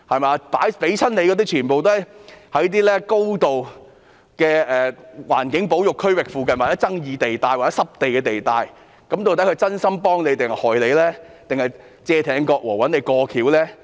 獲撥的土地全都位於高度環境保育區域附近的具爭議地帶或濕地地帶，究竟地產商是真心幫政府，還是要加害政府，"借艇割禾"而找政府"過橋"呢？